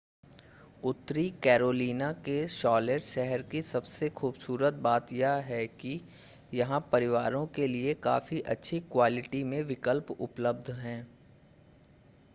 उत्तरी कैरोलिना के शॉलेट शहर की सबसे खूबसूरत बात यह है कि यहां परिवारों के लिए काफ़ी अच्छी क्वालिटी के विकल्प उपलब्ध हैं